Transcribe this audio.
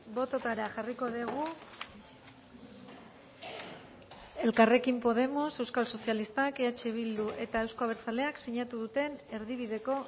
bototara jarriko dugu elkarrekin podemos euskal sozialistak eh bildu eta euzko abertzaleak sinatu duten erdibideko